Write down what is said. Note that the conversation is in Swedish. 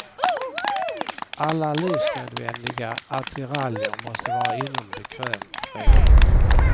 Alla livsnödvändiga attiraljer måste vara inom bekvämt räckhåll.